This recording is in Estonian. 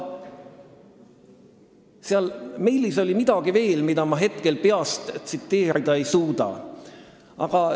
Seal meilis oli midagi veel, mida ma hetkel peast tsiteerida ei suuda.